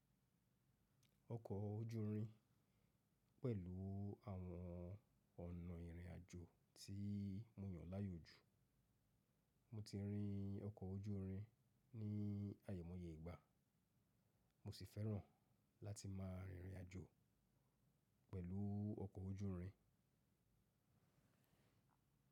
Ọkọ̀ ojúrin pẹ̀lú àwọn ọ̀nà ìrìn àjò tí mo yàn láàyò jù. Mo ti rin ọkọ̀ ojúrin ní àimọ̀ye ìgbà, mo sì fẹ́ràn láti máa rìrìn àjò pẹ̀lú ọkọ̀ ojúrin.